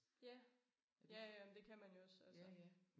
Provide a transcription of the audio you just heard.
Ja ja ja men det kan man jo også altså